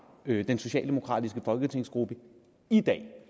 den socialdemokratiske folketingsgruppe i dag